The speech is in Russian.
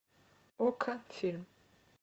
окко фильм